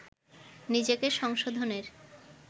নিজেকে সংশোধনের